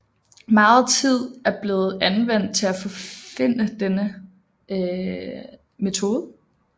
Meget tid er blevet anvendt til at forfinde denne metode